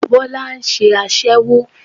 Bólá nse aṣẹ́wó